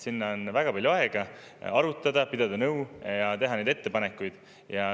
Sinna on väga palju aega, et arutada, pidada nõu ja teha ettepanekuid.